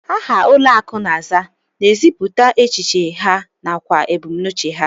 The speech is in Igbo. Aha ụlọakụ na-aza na-ezipụta echiche ha nakwa ebumnuche ha